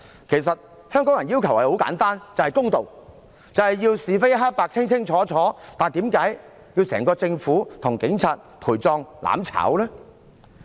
其實，香港人的要求很簡單，就是要公道，就是要是非黑白清清楚楚，為何要整個政府與警察"陪葬"、"攬炒"呢？